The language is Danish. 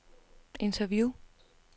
interview